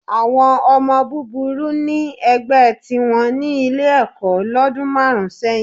Àwọn ọmọ búburú ní ẹgbẹ́ tìwọn ní Ilé-ẹ̀kọ́ lọ́dún márùn-ún sẹ́yìn